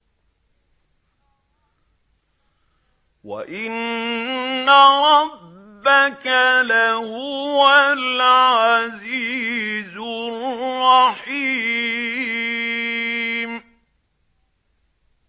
وَإِنَّ رَبَّكَ لَهُوَ الْعَزِيزُ الرَّحِيمُ